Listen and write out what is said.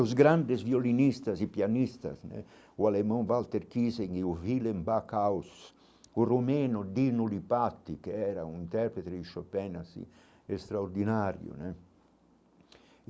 Os grandes violinistas e pianistas né, o alemão Walter Kiesen e o Willem Bacaus, o Romeno Dino Lipatic, que era um intérprete de Chopin assim extraordinário né.